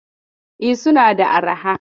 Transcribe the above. E, suna da arha.